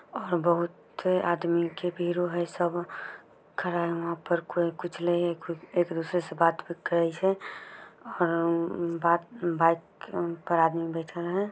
और बहुत आदमी के बिरो है सब खड़े है वहाँ पर कोई कुछ ले खु--- एक दूसरे से बात क्रईसे और अं--बात बात पर आदमी बैठल हैं।